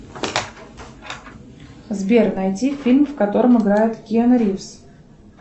сбер найди фильм в котором играет киану ривз